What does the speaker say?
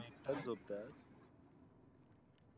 तुम्ही झोपतात.